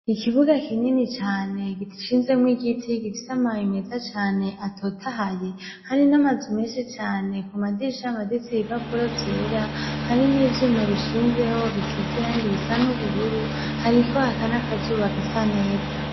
Ikibuga kinini cane gishinzemwo igiti gifise amababi meza cane atotahaye , hari namazu menshi cane , kumadirisha hamaditse ibipapuro vyera, hari n'ivyuma bishinzeho bisize irangi risa n'ubururu , hariko haka n'akazuba gasa neza.